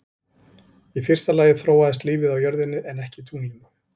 Í fyrsta lagi þróaðist lífið á jörðinni en ekki tunglinu.